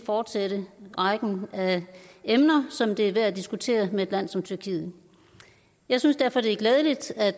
fortsætte rækken af emner som det er værd at diskutere med et land som tyrkiet jeg synes derfor det er glædeligt at